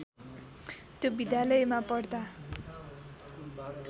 त्यो विद्यालयमा पढ्दा